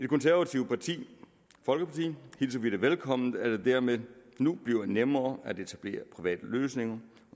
konservative folkeparti hilser vi det velkommen at det dermed nu bliver nemmere at etablere private løsninger